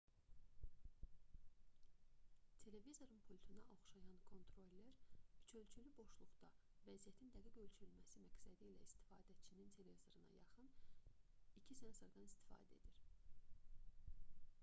televizorun pultuna oxşayan kontroller üçölçülü boşluqda vəziyyətin dəqiq ölçülməsi məqsədilə istifadəçinin televizoruna yaxın 2 sensordan istifadə edir